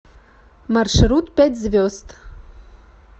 маршрут пять звезд